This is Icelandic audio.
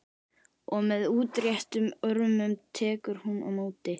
Og með útréttum örmum tekur hún á móti.